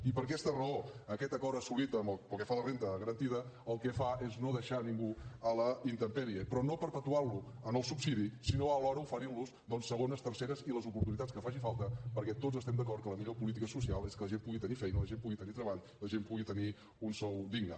i per aquesta raó aquest acord assolit pel que fa a la renda garantida el que fa és no deixar ningú a la intempèrie però no perpetuant lo en el subsidi sinó alhora oferint los doncs segones terceres i les oportunitats que faci falta perquè tots estem d’acord que la millor política social és que la gent pugui tenir feina la gent pugui tenir treball la gent pugui tenir un sou digne